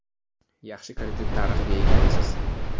Yaxshi kredit tarixiga egamisiz?